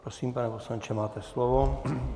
Prosím, pane poslanče, máte slovo.